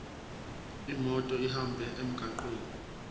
imoto ihambe emgwaqweni